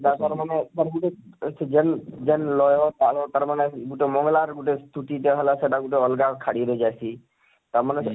ତାର ମାନେ ତାର ଗୁଟେ ସେ ଜେନ ଜେନ ଲୟ ତାଳ ତାର ମାନେ ଗୁଟେ ମଙ୍ଗଳାର ଗୁଟେ ସ୍ତୁତି ଟା ହେଲା ଆଉ ସେଟା ଗୁଟେ ଅଲଗା ଖାଡ଼ି ରେ ଜାଇସୀ ତା ମାନେ